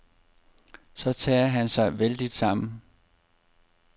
Så tager han sig vældigt sammen.